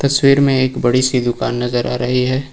तस्वीर में एक बड़ी सी दुकान नजर आ रही है।